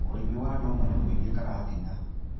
ũrĩmi wa ndũma nĩ mũingĩ karatina.